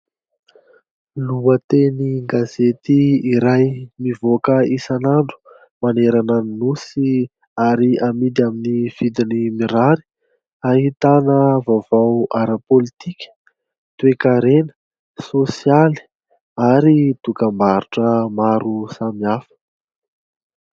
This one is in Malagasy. Lohatenin-gazety iray mivoaka isan'andro manerana ny nosy ary amidy aminy vidiny mirary ahitana vaovao ara-politika, toe-karena, sosialy, ary dokam-barotra maro samihafa.